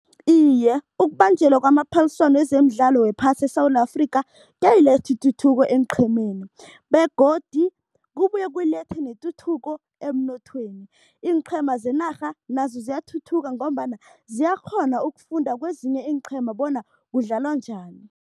Iye, ukubanjelwa kwamaphaliswano wezemidlalo wephasi eSewula Afrika kuyayiletha ituthuko eenqhemeni begodu kubuye kulethe netuthuko emnothweni. Iinqhema zenarha nazo ziyathuthuka ngombana ziyakghona ukufunda kwezinye iinqhema bona kudlalwa njani.